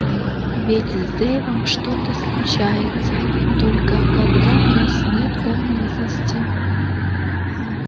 ведь с дейвом что-то случается только когда нас нет поблизости